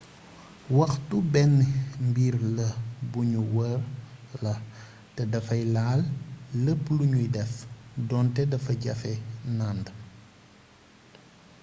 waxtu benn mbir la buñu wër la te dafay laal lépp luñuy def donte dafa jafe nànd